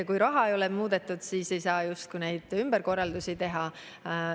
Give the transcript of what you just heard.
Kui rahasummat ei ole muudetud, siis ei saa justkui neid ümberkorraldusi teha.